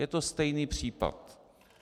Je to stejný případ.